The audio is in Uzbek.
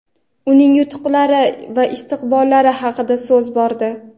uning yutuqlari va istiqbollari haqida so‘z bordi.